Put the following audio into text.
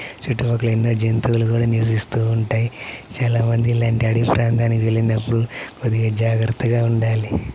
చుట్టూ పక్కల ఎన్నో జంతువులు కూడా నివసిస్తూ ఉంటాయి. చాలా మంది ఇలాంటి ఆడవి ప్రాంతానికి వెళ్ళినప్పుడు కొద్దిగా జాగ్రత్తగా ఉండాలి.